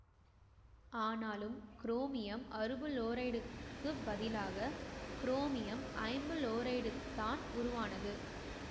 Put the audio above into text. ஆனாலும் குரோமியம் அறுபுளோரைடுக்குப் பதிலாக குரோமியம் ஐம்புளோரைடுதான் உருவானது